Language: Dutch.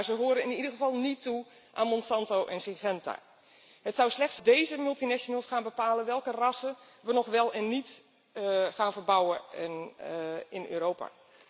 Maar ze behoren in ieder geval niet toe aan Monsanto en Syngenta. Het zou slecht zijn als deze multinationals gaan bepalen welke rassen we wel of niet gaan verbouwen in Europa.